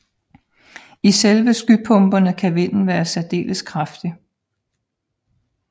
I selve skypumperne kan vinden være særdeles kraftig